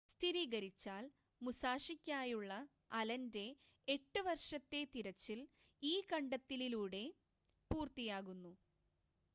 സ്ഥിരീകരിച്ചാൽ മുസാഷിക്കായുള്ള അലൻ്റെ എട്ട് വർഷത്തെ തിരച്ചിൽ ഈ കണ്ടെത്തലിലൂടെ പൂർത്തിയാകുന്നു